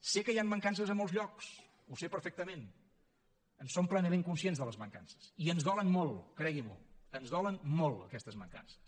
sé que hi han mancances a molts llocs ho sé perfectament en som plenament conscients de les mancances i ens dolen molt creguin m’ho ens dolen molt aquestes mancances